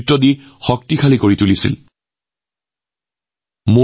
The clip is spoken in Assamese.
আমাৰ সেনাবাহিনীক শক্তিশালী কৰি তোলাত তেওঁৰ গুৰুত্বপূৰ্ণ অৱদান আছে